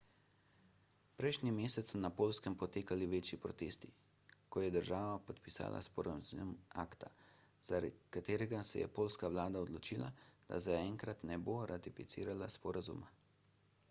prejšnji mesec so na poljskem potekali večji protesti ko je država podpisala sporazum acta zaradi katerega se je poljska vlada odločila da zaenkrat ne bo ratificirala sporazuma